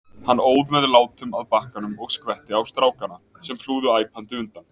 Hann óð með látum að bakkanum og skvetti á strákana, sem flúðu æpandi undan.